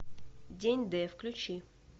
день д включи